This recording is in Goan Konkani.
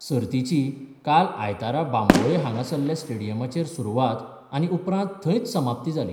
सर्तिची काल आयतारा बांबोळे हांगासरल्या स्टेडियमाचेर सुरवात आनी उपरांत थंयच समाप्ती जाली.